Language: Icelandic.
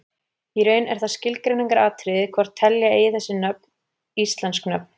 Í raun er það skilgreiningaratriði hvort telja eigi þessi nöfn íslensk nöfn.